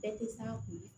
Bɛɛ tɛ se a koli